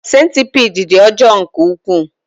Sentipiid dị ọjọọ nke ukwuu.